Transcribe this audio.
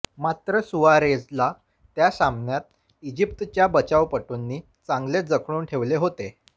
मात्र सुआरेझला त्या सामन्यात इजिप्तच्या बचावपटूंनी चांगलेच जखडून ठेवले होते